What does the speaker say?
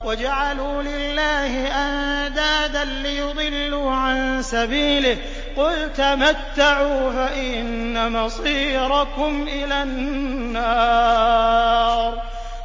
وَجَعَلُوا لِلَّهِ أَندَادًا لِّيُضِلُّوا عَن سَبِيلِهِ ۗ قُلْ تَمَتَّعُوا فَإِنَّ مَصِيرَكُمْ إِلَى النَّارِ